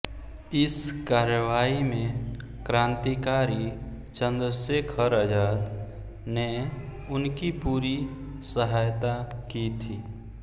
इस कार्रवाई में क्रान्तिकारी चन्द्रशेखर आज़ाद ने उनकी पूरी सहायता की थी